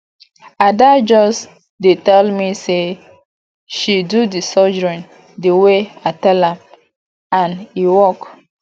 ada just dey tell me say she do the surgery the way i tell am and e work